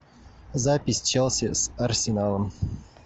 запись челси с арсеналом